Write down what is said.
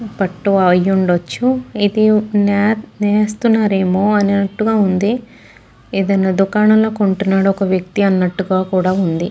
పట్టు అయ్యిఉండచ్చు ఇది నె నేస్తున్నారేమో అన్నట్టుగా ఉంది ఏదైనా దుకాణంలో కొంటున్నాడు ఒక వ్యక్తి అన్నట్టుగా కుడా ఉంది.